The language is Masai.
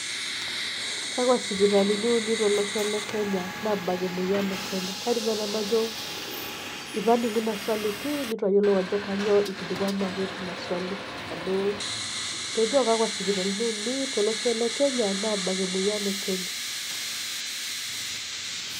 Kakwaa sipitalini uni tolosho le Kenya naabak emueyian ee Kenya? Kaidim naaji nanu najo eitu aning'u iina swali pii neitu ayiolou aajo kanyoo eikilikuanaki teina swali.